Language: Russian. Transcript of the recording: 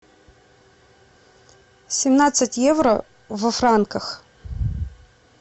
семнадцать евро во франках